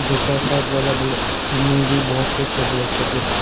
दूसरा side building में भी बहुत कुछ है ब्लैक के जैसा।